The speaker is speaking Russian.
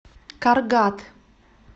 каргат